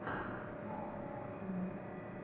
макс максимов